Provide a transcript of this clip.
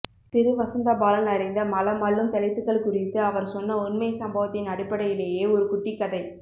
திரு வசந்தபாலன் அறிந்த மலம் அள்ளும் தலித்துகள் குறித்து அவர் சொன்ன உண்மை சம்பவத்தின் அடிப்படையிலேயே ஒரு குட்டிக்கதை